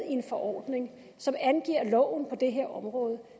en forordning som angiver loven på det her område og